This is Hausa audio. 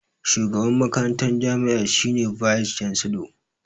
Shugaban makarantar jami'a shi ne "Vice chancellor".